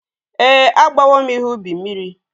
Ee, agbawo m ihe ubi mmiri.